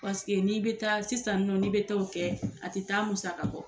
Paseke n'i bɛ taa sisan nɔ n'i bɛ t'o kɛ a tɛ taa musaka kɔ.